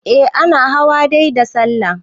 eh ana hawa dai da sallah